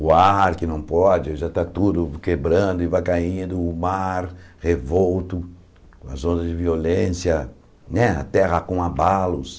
O ar que não pode, já está tudo quebrando e vai caindo, o mar, revolto, as ondas de violência né, a terra com abalos.